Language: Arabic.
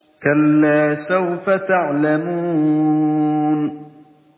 كَلَّا سَوْفَ تَعْلَمُونَ